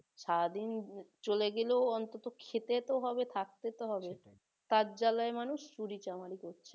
সারাদিন চলে গেলেও অন্তত খেতে তো হবে থাকতে তো তার জালায় মানুষ চুরি-চামারি করছে তাই না?